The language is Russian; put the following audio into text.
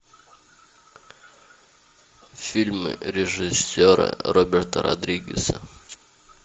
фильмы режиссера роберта родригеса